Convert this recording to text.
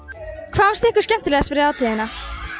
hvað fannst ykkur skemmtilegast við hátíðina